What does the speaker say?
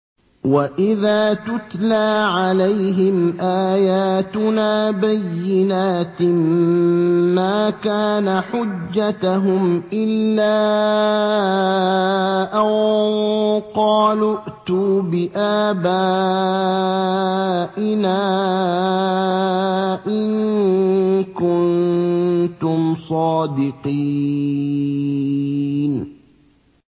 وَإِذَا تُتْلَىٰ عَلَيْهِمْ آيَاتُنَا بَيِّنَاتٍ مَّا كَانَ حُجَّتَهُمْ إِلَّا أَن قَالُوا ائْتُوا بِآبَائِنَا إِن كُنتُمْ صَادِقِينَ